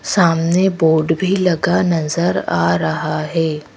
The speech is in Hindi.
सामने बोर्ड भी लगा नजर आ रहा है।